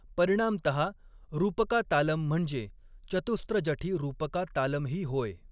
परिणामतहा, रूपका तालम म्हणजे चतुस्र जठी रूपका तालमही होय.